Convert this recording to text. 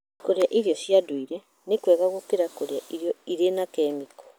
Kũrĩa irio cia ndũire nĩ kwega gũkĩra kũrĩa irio irĩ na kemiko.